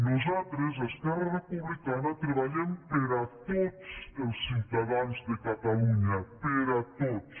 nosaltres esquerra republicana treballem per a tots els ciutadans de catalunya per a tots